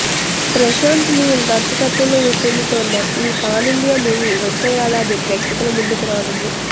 ప్రశాంత్ నీల్ దర్శకత్వంలో రూపొందుతోన్న ఈ పాన్ ఇండియా మూవీ వచ్చే ఏడాది ప్రేక్షకుల ముందుకు రానుంది